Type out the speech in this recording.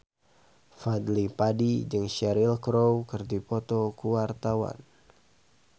Fadly Padi jeung Cheryl Crow keur dipoto ku wartawan